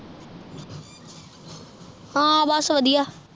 ਹਨ ਬਸ ਵਧੀਆ